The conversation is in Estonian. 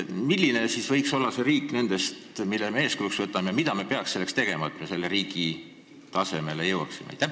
Milline võiks olla see riik nendest, mille me eeskujuks võtame, ja mida me peaksime tegema selleks, et me selle riigi tasemele jõuaksime?